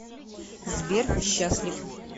сбер счастлив